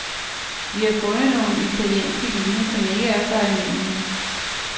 Vi har fundet nogle italienske vine, som ikke er så almindelige.